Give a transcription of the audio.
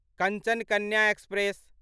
Kanchan Kanya express